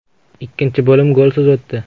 Ikkinchi bo‘lim golsiz o‘tdi.